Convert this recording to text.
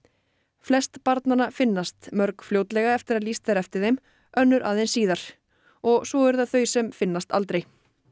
flest barnanna finnast mörg fljótlega eftir að lýst er eftir þeim önnur aðeins síðar og svo eru það þau sem finnast aldrei